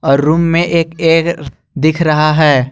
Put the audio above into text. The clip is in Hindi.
और रूम में एक दिख रहा है।